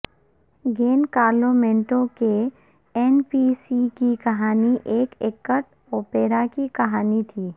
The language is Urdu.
گین کارلو مینٹو کے این بی سی کی کہانی ایک ایکٹ اوپیرا کی کہانی تھی